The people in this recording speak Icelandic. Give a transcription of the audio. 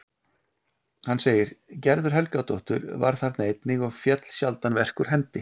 Hann segir: Gerður Helgadóttir var þarna einnig og féll sjaldan verk úr hendi.